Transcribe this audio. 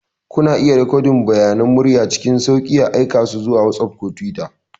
Kuna iya rikodin bayanan murya cikin sauƙi, aika su zuwa WhatsApp ko Twitter.